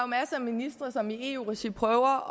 masser af ministre som i eu regi prøver